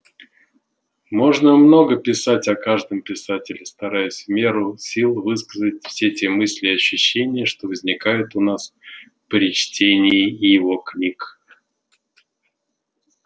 можно много писать о каждом писателе стараясь в меру сил высказать все те мысли и ощущения что возникают у нас при чтении его книг